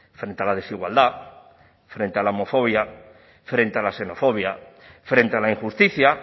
frente a la desigualdad frente a la homofobia frente a la xenofobia frente a la injusticia